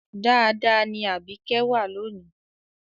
Dáadáa ni Àbíkẹ́ wà lónì